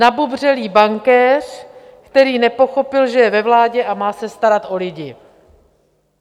Nabubřelý bankéř, který nepochopil, že je ve vládě a má se starat o lidi.